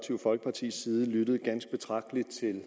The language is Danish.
folkepartis side lyttet ganske betragteligt til